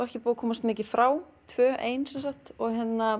ekki búið að komast mikið frá tvö ein og